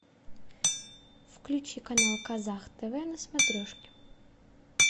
включи канал казах тв на смотрешке